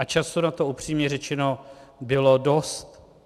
A času na to upřímně řečeno bylo dost.